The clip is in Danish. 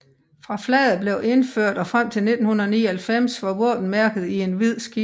Fra flaget blev indført og frem til 1999 var våbenmærket i en hvid skive